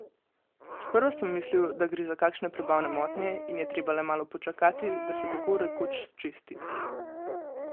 Sprva sem mislil, da gre za kakšne prebavne motnje in je treba le malo počakati, da se tako rekoč sčisti.